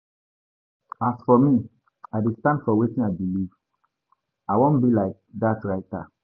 As for me I dey stand for wetin I believe. I wan be like dat writer.